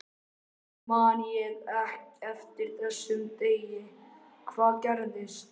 Af hverju man ég eftir þessum degi, hvað gerðist?